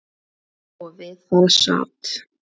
Og við það sat.